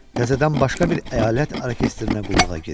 Təzədən başqa bir əyalət orkestrinə qulluğa girir.